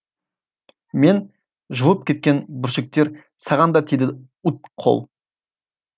мен жұлып кеткен бүршіктер саған да тиді уыт қол